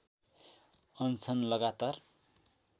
अनसन लगातार